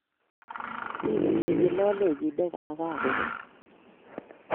Mi kochengei lolenyi negagobet